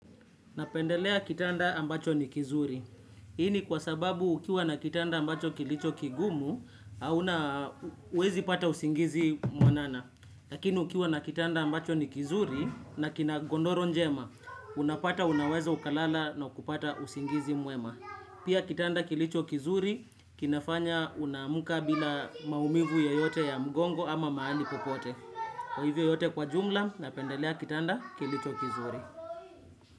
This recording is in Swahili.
Napendelea kitanda ambacho ni kizuri. Hii ni kwa sababu ukiwa na kitanda ambacho kilicho kigumu, hauna huwezi pata usingizi mwanana. Lakini ukiwa na kitanda ambacho ni kizuri, na kina godoro njema, unapata unaweza ukalala na kupata usingizi mwema. Pia kitanda kilicho kizuri, kinafanya unaamka bila maumivu yeyote ya mgongo ama mahali popote. Kwa hivyo yote kwa jumla, napendelea kitanda kilicho kizuri.